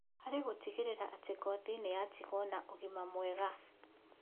Harĩ gũtigĩrĩra atĩ ngothi nĩyatigwo na ũgima mwega